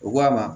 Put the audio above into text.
U ko a ma